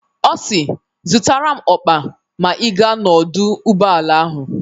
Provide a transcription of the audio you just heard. Ọ si "Zụtara m ọkpa ma ị gaa n'ọdụ ụgbọala ahụ"